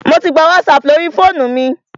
Mò tí gbà WhatsApp lórí fóònù mi.